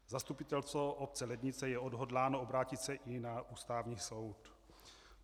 Zastupitelstvo obce Lednice je odhodláno obrátit se i na Ústavní soud.